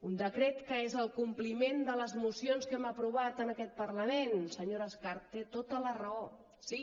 un decret que és el compliment de les mocions que hem aprovat en aquest parlament senyora escarp té tota la raó sí